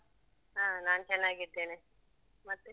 ಹ ನಾನು ಚೆನ್ನಾಗಿದ್ದೇನೆ. ಮತ್ತೆ?